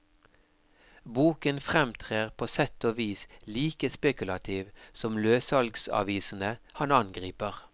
Boken fremtrer på sett og vis like spekulativ som løssalgsavisene han angriper.